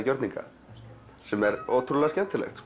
gjörninga sem er ótrúlega skemmtilegt